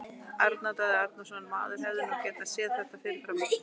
Arnar Daði Arnarsson Maður hefði nú getað séð þetta fyrir fram.